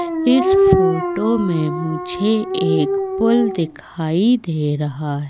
इस फोटो में मुझे एक पुल दिखाई दे रहा--